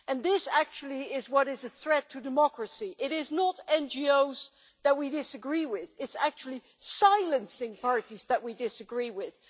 This is actually what presents a threat to democracy it is not NGOs that we disagree with but actually silencing parties that we disagree with.